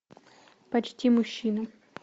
почти мужчина